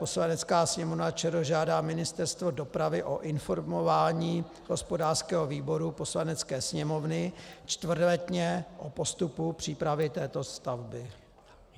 Poslanecká sněmovna ČR žádá Ministerstvo dopravy o informování hospodářského výboru Poslanecké sněmovny čtvrtletně o postupu přípravy této stavby.